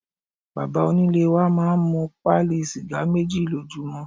Bàbá onílé wa máa ń mu pálí sìgá méjì lójúmọ́.